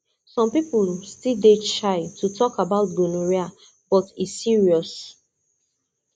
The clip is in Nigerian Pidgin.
some people still dey shy to talk about gonorrhea but e serious